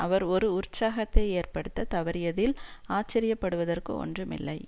அவர் ஒரு உற்சாகத்தை ஏற்படுத்த தவறியதில் ஆச்சரிய படுவதற்கு ஒன்றுமில்லை